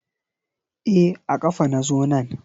E a kafa na zo nan.